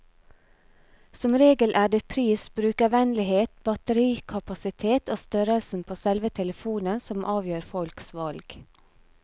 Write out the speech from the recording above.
Som regel er det pris, brukervennlighet, batterikapasitet og størrelsen på selve telefonen som avgjør folks valg.